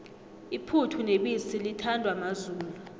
iphuthu nebisi lithandwa mazulu